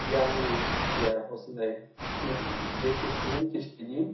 яғни иә осындай күн ертесінен кешке дейін